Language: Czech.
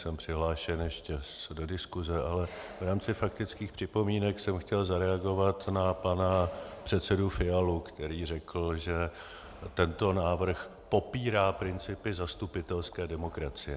Jsem přihlášen ještě do diskuse, ale v rámci faktických připomínek jsem chtěl zareagovat na pana předsedu Fialu, který řekl, že tento návrh popírá principy zastupitelské demokracie.